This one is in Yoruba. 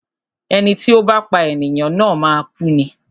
Ẹni tí ó bá pá ènìyàn na máa kú ni.